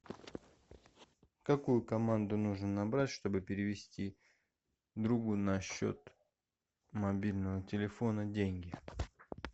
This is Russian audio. какую команду нужно набрать чтобы перевести другу на счет мобильного телефона деньги